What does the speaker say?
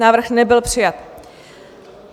Návrh nebyl přijat.